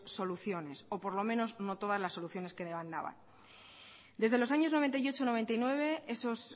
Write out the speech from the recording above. es soluciones o por lo menos no todas las soluciones que demandaban desde los años mil novecientos noventa y ocho mil novecientos noventa y nueve esos